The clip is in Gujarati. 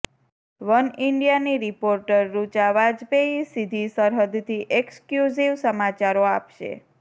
વનઇન્ડિયાની રિપોર્ટર ઋચા વાજપેઇ સીધી સરહદથી એક્સક્યૂઝિવ સમાચારો આપશે